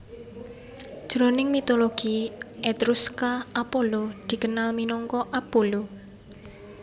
Jroning mitologi Etruska Apollo dikenal minangka Apullu